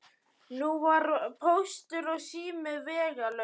Nú var Póstur og sími vegalaus.